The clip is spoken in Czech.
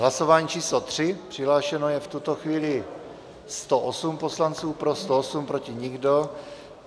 Hlasování číslo 3, přihlášeno je v tuto chvíli 108 poslanců, pro 108, proti nikdo.